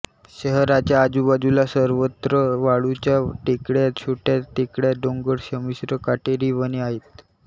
शहराच्या आजूबाजूला सर्वत्र वाळूच्या टेकड्या छोट्या टेकड्या डोंगर संमिश्र काटेरी वने आहेत